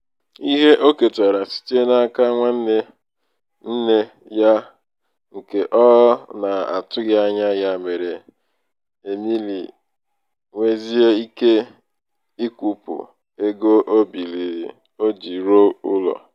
ihe o ketara site n'aka nwanne nne ya nke ọ na-atụghị anya ya mere emily nwezie ike ịkwụpụ ego o biiri o ji rụọ ụlọ.